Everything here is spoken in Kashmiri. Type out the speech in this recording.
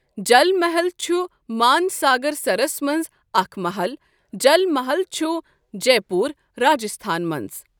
جل محل چھ مان ساگر سَرَس مَنٛز اَکھ مَحل جَل مَحل چھُ جے پٗور، راجستھانس مَنٛز۔